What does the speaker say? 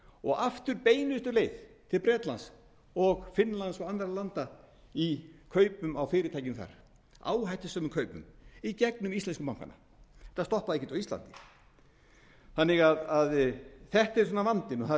og aftur beinustu leið til bretlands finnlands og annarra landa í kaupum á fyrirtækjum þar áhættusömum kaupum í gegnum íslensku bankana þetta stoppaði ekkert á íslandi þannig að þetta er vandinn og það er